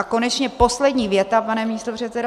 A konečně poslední věta, pane místopředsedo -